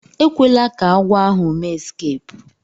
Ekwela ka agwo ahu mee eskeepu.